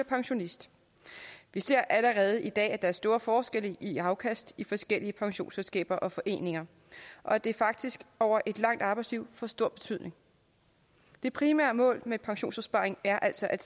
pensionist vi ser allerede i dag at der er store forskelle i afkast i forskellige pensionsselskaber og foreninger og at det faktisk over et langt arbejdsliv får stor betydning det primære mål med pensionsopsparing er altså at